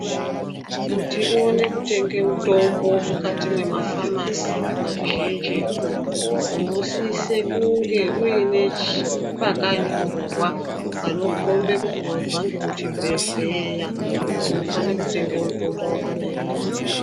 Kuti uone kutenge mutombo mukati mwemafamasi mazhinjitu unosise kunge uine chi pakanyorwa panokombe kuti wabva ngekuchibhedhleya unofane kutenge mutombo wakadai ngeuwu.